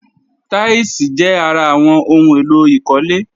Táílsìì jẹ́ ara àwọn ohun èlò ìkólé